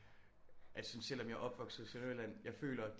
Jeg synes selvom jeg er opvokset i Sønderjylland jeg føler